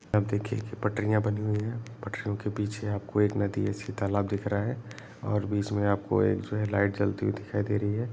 आप देखिये पटरिया बनी हुई है पटरियों के पीछे आपको एक नदी जैसी तालाब दिख रहा है और बीच में आपको एक जो है लाइट जलती हुई दिखाई दे रही है।